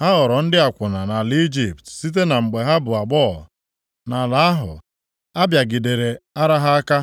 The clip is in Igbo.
Ha ghọrọ ndị akwụna nʼala Ijipt site na mgbe ha bụ agbọghọ. Nʼala ahụ, a bịagidere ara ha aka,